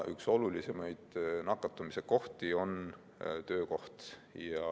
Üks olulisemaid nakatumise kohti on töökoht.